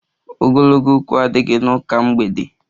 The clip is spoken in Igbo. Ogologo okwu adighi n'ụka mgbede